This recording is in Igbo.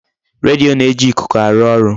Redio na-eji ikuku arụ ọrụ.